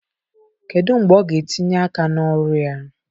Kedu mgbe ọ ga-etinye aka na ọrụ ya?